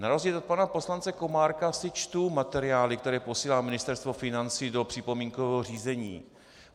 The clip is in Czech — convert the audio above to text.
Na rozdíl od pana poslance Komárka si čtu materiály, které posílá Ministerstvo financí do připomínkového řízení.